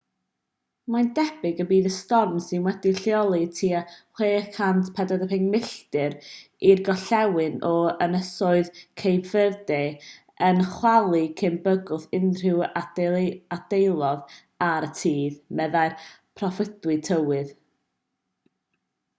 mae'n debyg y bydd y storm sydd wedi'i lleoli tua 645 milltir 1040 km i'r gorllewin o ynysoedd cape verde yn chwalu cyn bygwth unrhyw ardaloedd ar y tir meddai'r proffwydi tywydd